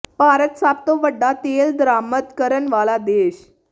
ਭਾਰਤ ਸਭ ਤੋਂ ਵੱਡਾ ਤੇਲ ਦਰਾਮਦ ਕਰਨ ਵਾਲਾ ਦੇਸ਼